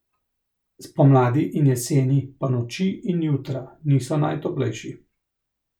Spomladi in jeseni pa noči in jutra niso najtoplejši.